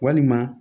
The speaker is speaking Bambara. Walima